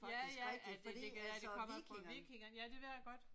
Ja ja at det kan være det kommer fra vikingerne. Ja det ved jeg godt